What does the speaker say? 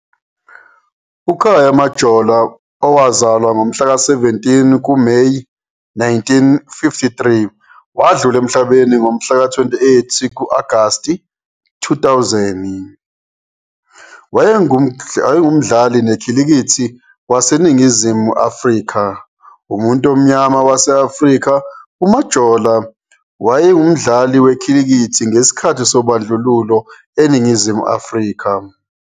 UKhaya Majola owazalwa, ngomhla ka-17 kuMeyi 1953 wadlula emhlabeni ngomhla ka-28 ku-Agasti 2000, wayengumdlali nekhilikithi waseNingizimu Afrika. Umuntu omnyama wase-Afrika, uMajola wayedlala ikhilikithi ngesikhathi sobandlululo- eNingizimu Afrika.